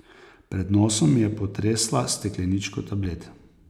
Pred nosom mi je potresla s stekleničko tablet.